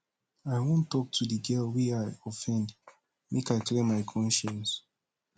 i wan tok to di girl wey i offendmake i clear my conscience